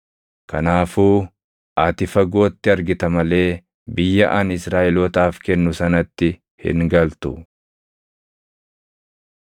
Kanaafuu ati fagootti argita malee biyya ani Israaʼelootaaf kennu sanatti hin galtu.”